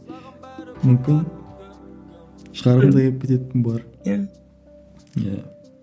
мүмкін шығарғым да келіп кететін болар иә иә